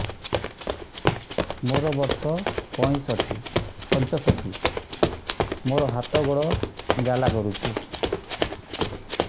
ମୋର ବର୍ଷ ପଞ୍ଚଷଠି ମୋର ହାତ ଗୋଡ଼ ଜାଲା କରୁଛି